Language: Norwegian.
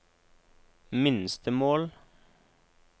minstemål